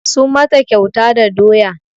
Sun mata kyauta da doya